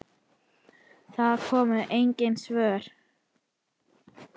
Það komu engin svör.